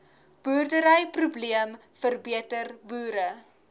boerderyprobleem verbeter boere